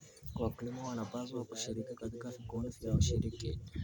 Wakulima wanapaswa kushiriki katika vikundi vya ushirika.